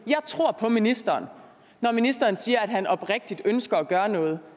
jeg tror på ministeren når ministeren siger at han oprigtigt ønsker at gøre noget